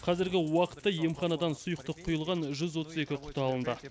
қазіргі уақытта емханадан сұйықтық құйылған жүз отыз екі құты алынды